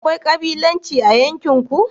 akwai kabilanci a yankin ku?